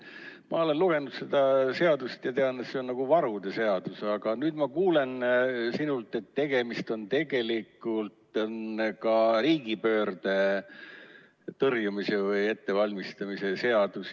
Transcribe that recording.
Ma olen lugenud seda seadust ja tean, et see on nagu varude seadus, aga nüüd ma kuulen sinult, et tegemist on tegelikult ka riigipöörde tõrjumise või ettevalmistamise seadusega.